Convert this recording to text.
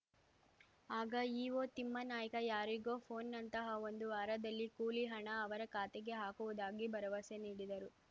ಆಗ ಇಓ ತಿಮ್ಮನಾಯ್ಕ ಯಾರಿಗೊ ಪೋನ್‌ ನಂತಹ ಒಂದು ವಾರದಲ್ಲಿ ಕೂಲಿ ಹಣ ಅವರ ಖಾತೆಗೆ ಹಾಕುವುದಾಗಿ ಭರವಸೆ ನೀಡಿದರು